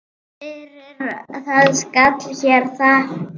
Fyrir það skal hér þakkað.